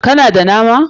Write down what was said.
Ka na da nama?